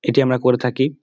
এটি আমরা করে থাকি ।